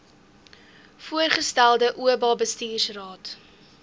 voorgestelde oba bestuursraad